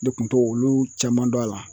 Ne kun t'o olu caman dɔn a la.